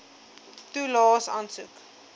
toelaes aansoek